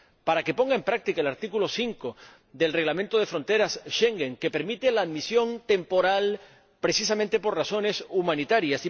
para que ponga en práctica el artículo 5 del Reglamento sobre el Código de fronteras Schengen, que permite la admisión temporal precisamente por razones humanitarias